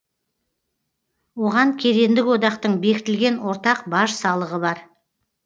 оған кедендік одақтың бекітілген ортақ баж салығы бар